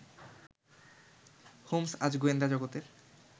Holmes আজ গোয়েন্দা জগতের